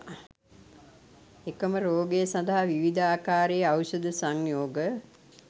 එකම රෝගය සඳහා විවිධ ආකාරයේ ඖෂධ සංයෝග